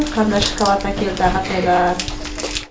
қандай шоколад әкелді ағатайлар